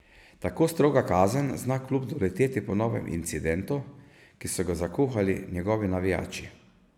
Tako stroga kazen zna klub doleteti po novem incidentu, ki so ga zakuhali njegovi navijači.